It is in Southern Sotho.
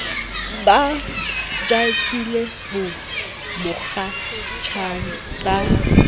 ba jakile ho mokgatjhane ba